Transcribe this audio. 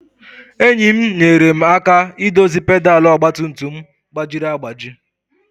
Enyi m nyeere m aka idozi pedal ọgba tum tum m gbajiri agbaji.